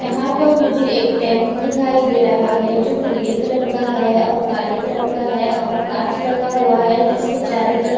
यहा पर मुझे एक टेम्पू दिखाई दे रहा है जो पीले कलर का है और काले कलर का है और काच लगा हुआ है जिसके चारो तरफ--